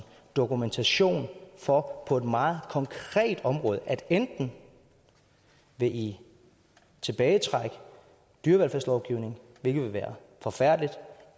dokumentation for på et meget konkrete område at enten vil i tilbagetrække dyrevelfærdslovgivningen hvilket ville være forfærdeligt